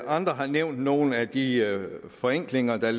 andre har nævnt nogle af de forenklinger der